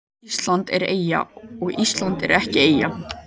Ísland er eyja og Ísland er ekki eyja